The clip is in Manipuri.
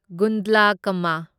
ꯒꯨꯟꯗ꯭ꯂꯀꯝꯃ